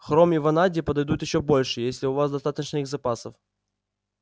хром и ванадий подойдут ещё больше если у вас достаточно их запасов